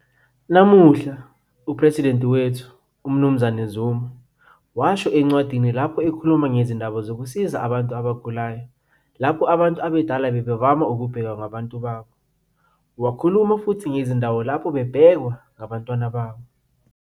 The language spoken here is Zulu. Namuhla, uPhresidenti wethu, umnz Zuma, washo encwadini lapho ekhuluma ngezindaba zokusiza abantu abagulayo lapho abantu abadala bebavama ukubhekwa ngabantu babo. Wakhuluma futhi ngezindawo lapho bebhekwa ngabantwana babo.